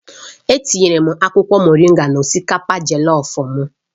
Etinyere m akwụkwọ moringa na osikapa Jellof m